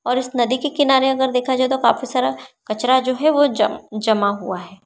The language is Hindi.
और इस नदी के किनारे अगर देखा जाए तो काफी सारा कचरा जो है वो जम जमा हुआ है।